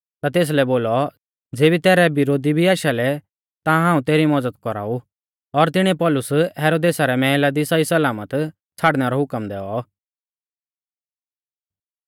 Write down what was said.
और ज़ेबी तेसकै पौतौ लागौ कि किलकिया परदेशा रौ आ ता तेसलै बोलौ ज़ेबी तैरै विरोधी भी आशालै ता हाऊं तेरी मज़द कौराऊ और तिणीऐ पौलुस हेरोदेसा रै मैहला दी सहीसलामत छ़ाड़नै रौ हुकम दैऔ